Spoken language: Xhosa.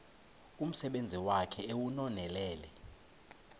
umsebenzi wakhe ewunonelele